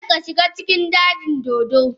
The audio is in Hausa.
Kada ka shiga cikin dajin dodo.